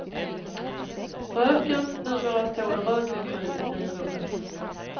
Röken, numera står en rökmaskin i finrummet.